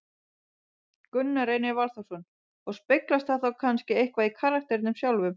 Gunnar Reynir Valþórsson: Og speglast það þá kannski eitthvað í karakternum sjálfum?